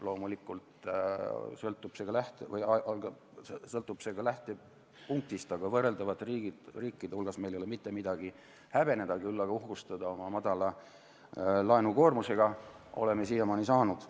Loomulikult sõltub see ka lähtepunktist, aga võrreldavate riikide hulgas ei ole meil mitte midagi häbeneda, küll aga oleme saanud siiamaani uhkustada oma madala laenukoormusega.